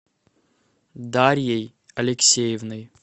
дарьей алексеевной